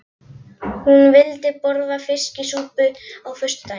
Hún vildi borða fiskisúpu á föstudögum.